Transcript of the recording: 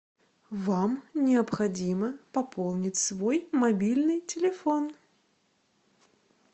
вам необходимо пополнить свой мобильный телефон